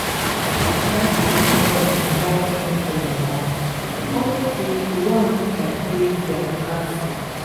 my igbo friend invite me for im house unto say he want make i taste their local food